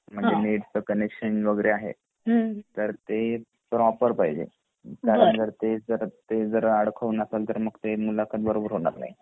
म्हणजे जे नेट च कनेक्शन आहे वगैरे आहे तर ते प्रॉपर पाहिजे ते जर अडकून असेल मग ते मुलाखत बरोबर होणार नाही